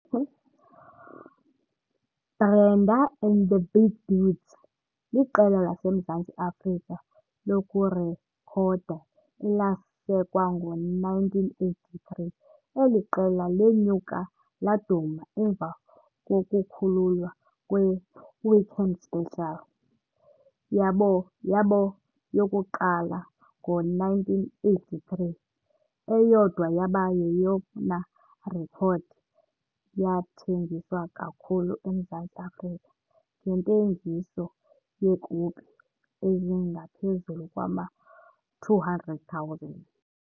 Brenda and the Big Dudes liqela laseMzantsi Afrika lokurekhoda elasekwa ngo-1983. Eli qela lenyuke laduma emva kokukhululwa kwe- "Weekend Special" yabo yabo yokuqala ngo-1983. Eyodwa yaba yeyona rekhodi yathengiswa kakhulu eMzantsi Afrika ngentengiso yeekopi ezingaphezulu kwama-200,000.